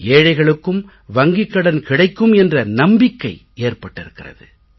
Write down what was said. ஏழைகளுக்கும் வங்கிக் கடன் கிடைக்கும் என்ற நம்பிக்கை ஏற்பட்டிருக்கிறது